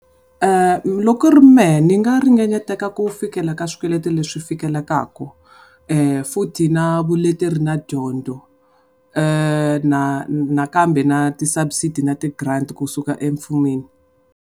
Loko ku ri mehe ni nga ringanyateka ku fikela ka swikweleti leswi fikelekaku. Futhi na vuleteri na dyondzo nakambe na ti subsidy na ti grant kusuka emfumeni.